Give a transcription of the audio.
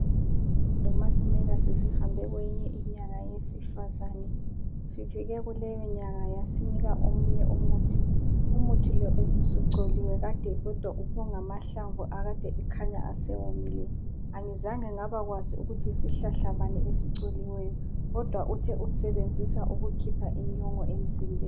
Lomalumekazi sihambe kweyinye inyanga yesifazane , sifike kuleyonyanga yasinika omunye umuthi , umuthi lo ubusucholiwe Kade kodwa kungamahlamvu akade ekhanya esewomile , angizange ngaba kwazi ukuthi yisihlahla bani esicholiweyo kodwa uthe usisebenzisa ukukhipha inyongo emzimbeni